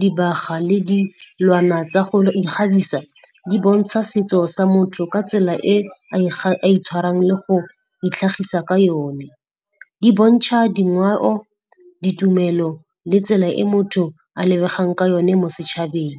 dibaga le dilwana tsa go ikgabisa, di bontsha setso sa motho ka tsela e a itshwarang le go itlhagisa ka one. Di bontšha dingweo ditumelo le tsela e motho a lebegang ka yone mo setšhabeng.